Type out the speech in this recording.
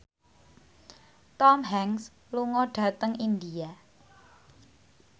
Tom Hanks lunga dhateng India